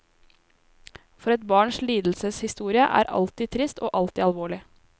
For et barns lidelseshistorie er alltid trist og alltid alvorlig.